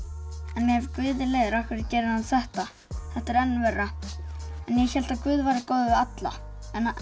en ef Guð er leiður af hverju gerir hann þetta þetta er enn verra ég hélt að Guð væri góður við alla